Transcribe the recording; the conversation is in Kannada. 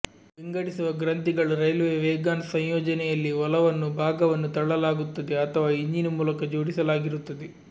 ವಿಂಗಡಿಸುವ ಗ್ರಂಥಿಗಳು ರೈಲ್ವೆ ವೇಗಾನ್ ಸಂಯೋಜನೆಯಲ್ಲಿ ಒಲವನ್ನು ಭಾಗವನ್ನು ತಳ್ಳಲಾಗುತ್ತದೆ ಅಥವಾ ಇಂಜಿನ್ ಮೂಲಕ ಜೋಡಿಸಲಾಗಿರುತ್ತದೆ